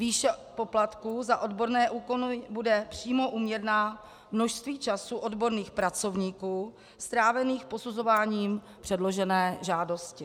Výše poplatků za odborné úkony bude přímo úměrná množství času odborných pracovníků strávených posuzováním předložené žádosti.